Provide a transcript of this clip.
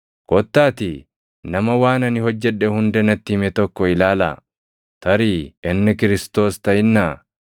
“Kottaatii nama waan ani hojjedhe hunda natti hime tokko ilaalaa! Tarii inni Kiristoos + 4:29 yookaan Masiihichaa taʼinnaa?”